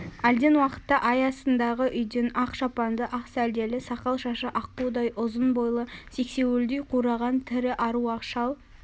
әлден уақытта ай астындағы үйден ақ шапанды ақ сәлделі сақал-шашы аққудай ұзын бойлы сексеуілдей қураған тірі аруақ шал